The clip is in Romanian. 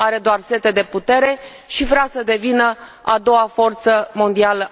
Are doar sete de putere și vrea să devină a doua forță mondială.